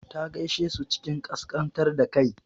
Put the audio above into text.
Ta gaishe su cikin ƙasƙantar da kai.